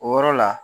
O yɔrɔ la